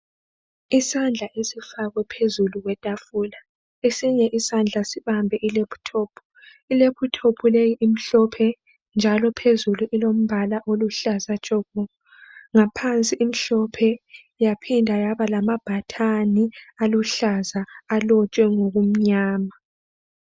Isandla esifakwe phezulu kwetafula esinye isandla sibambe ilephuthophu. Ilephuthophu leyi imhlophe njalo phezulu ilombala oluhlaza tshoko ngaphansi imhlophe yaphinda yaba lamabhathani aluhlaza alotshwe ngokumnyama.